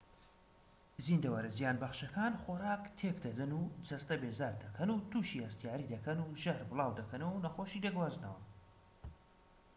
زیندەوەرە زیانبەخشەکان خۆراک تێك دەدەن و جەستە بێزار دەکەن و توشی هەستیاری دەکەن و ژەهر بڵاو دەکەنەوە و نەخۆشی دەگوازنەوە